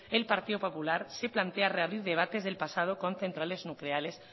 el partido popular se plantea reabrir debates del pasado con centrales nucleares